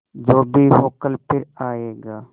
जो भी हो कल फिर आएगा